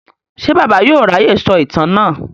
Ṣé Bàbá yóò ráyè sọ ìtàn náà?